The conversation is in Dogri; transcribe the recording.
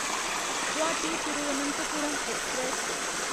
गुवाहाटी तिरुवनंतपुरम ऐक्सप्रैस